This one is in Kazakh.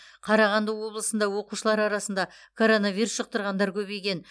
қарағанды облысында оқушылар арасында коронавирус жұқтырғандар көбейген